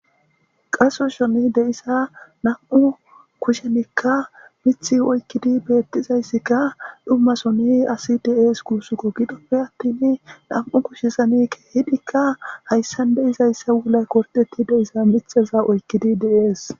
Qasho sooni deyiza namu'u kushezanika mithi oyikidi deyizasika dhuma soni assi desi gusaka gidope attini nam'u keshezan kehidi hayisani deyiza wulayi goridetiza mithaza oyikidi deyesi